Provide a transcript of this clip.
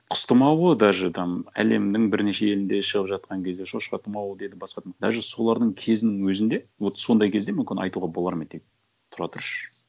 құс тұмауы даже там әлемнің бірнеше елінде шығып жатқан кезде шошқа тұмауы деді басқа даже солардың кезінің өзінде вот сондай кезде мүмкін айтуға болар ма еді е тұра тұршы